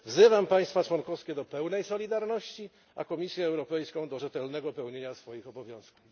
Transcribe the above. Wzywam państwa członkowskie do pełnej solidarności, a Komisję Europejską do rzetelnego pełnienia swoich obowiązków.